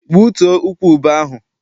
Gbutuo ukwu ube ahụ!